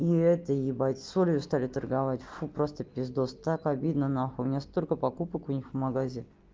и это ебать солью стали торговать фу просто пиздос так обидно нахуй у меня столько покупок у них в магазин